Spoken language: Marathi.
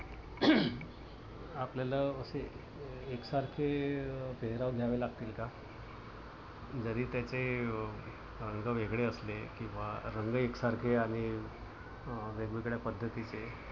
आपल्याला असे एकसारखे पेहराव घ्यावे लागतील का? जरी त्याचे रंग वेगळे असले किंवा रंग एकसारखे आणि वेगवेगळ्या पद्धतीचे